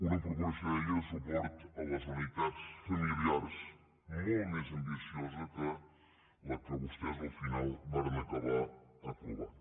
una proposició de llei de suport a les unitats familiars molt més ambiciosa que la que vostès al final varen acabar aprovant